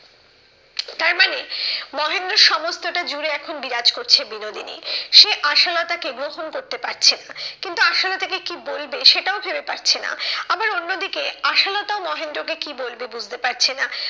তারমানে মহেন্দ্রর সমস্তটা জুড়ে এখন বিরাজ করছে বিনোদিনী। সে আশালতাকে গ্রহণ করতে পারছেন না। কিন্তু আশালতাকে কি বলবে সেটাও ভেবে পাচ্ছে না। আবার অন্যদিকে আশালতা ও মহেন্দ্রকে কি বলবে বুঝতে পারছে না।